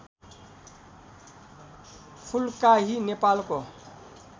फुल्काही नेपालको